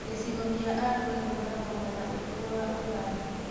Gĩcigo kĩa Arua gĩkoragwo mwena ũrĩku wa Ũganda